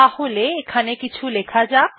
তাহলে এখানে কিছু লেখা যাক